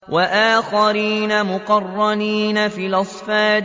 وَآخَرِينَ مُقَرَّنِينَ فِي الْأَصْفَادِ